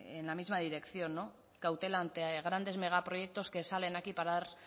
en la misma dirección cautela ante grandes megaproyectos que salen aquí para dar